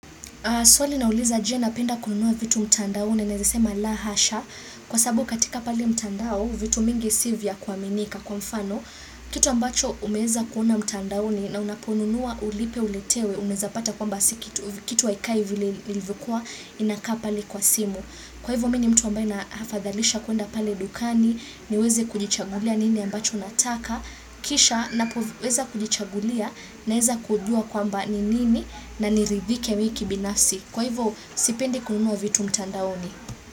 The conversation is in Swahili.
Swali linauliza je napenda kununua vitu mtandaoni nawezesema la hasha kwa sababu katika pali mtandao vitu mingi si vya kuaminika kwa mfano kitu ambacho umeweza kuona mtandaoni na unaponunua ulipe uletewe unaweza pata kwamba kitu haikai vile ilivyokua inakaa pale kwa simu. Kwa hivyo mimi ni mtu ambaye nahafadhalisha kuenda pale dukani niweze kujichagulia nini ambacho nataka Kisha napoweza kujichagulia naweza kujua kwamba ni nini na niridhike mimk binafsi Kwa hivyo sipendi kununua vitu mtandaoni.